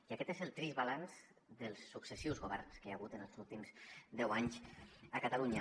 i aquest és el trist balanç dels successius governs que hi ha hagut els últims deu anys a catalunya